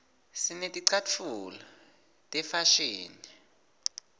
sineticatfulo tefashini